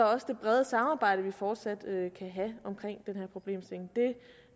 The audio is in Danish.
også det brede samarbejde vi fortsat kan have omkring den her problemstilling det